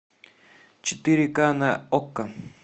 четыре ка на окко